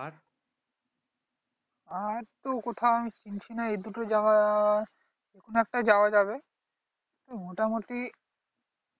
আর তো কোথাও কিছু শুনছি না এই দুটো জায়গায় যে কোন একটা যাওয়া যাবে মোটামুটি